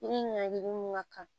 Yiri ɲagamin ka kan